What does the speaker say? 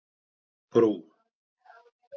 Brú